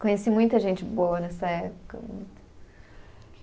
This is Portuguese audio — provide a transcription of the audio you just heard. Conheci muita gente boa nessa época.